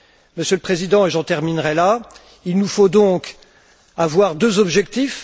Monsieur le Président, et j'en terminerai là, il nous faut donc avoir deux objectifs.